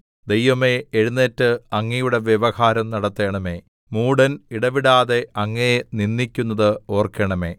ദൈവമേ എഴുന്നേറ്റ് അങ്ങയുടെ വ്യവഹാരം നടത്തണമേ മൂഢൻ ഇടവിടാതെ അങ്ങയെ നിന്ദിക്കുന്നത് ഓർക്കണമേ